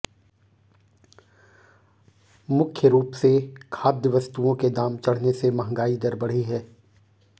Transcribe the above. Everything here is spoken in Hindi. मुख्य रूप से खाद्य वस्तुओं के दाम चढ़ने से महंगाई दर बढ़ी है